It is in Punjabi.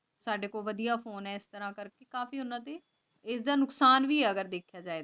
ਸਾਡੇ ਕੋਲ ਵਾਦਿਯ ਫੋਨੇ ਆਯ ਏਸ ਤਰ੍ਕਾਹਾ ਕਰ ਕੇ ਕਾਫੀ ਫੀ ਇਸ ਤਰ੍ਹਾਂ ਦੀ ਇੱਦਾ ਨੁਕਸਾਨ ਭੀ ਹੈ ਦੇਖ ਜਾਇ ਤੋਂ